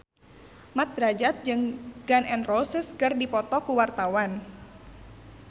Mat Drajat jeung Gun N Roses keur dipoto ku wartawan